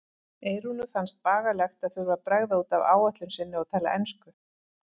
Eyrúnu fannst bagalegt að þurfa að bregða út af áætlun sinni og tala ensku.